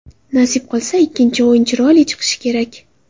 Nasib qilsa, ikkinchi o‘yin chiroyli chiqishi kerak.